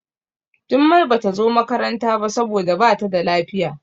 Jummai Bata zo makaranta ba saboda Bata da lafiya.